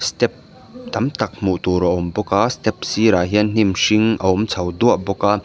step tam tak hmuh tur a awm bawk a step sirah hian hnim hring a awm chho duah bawk a.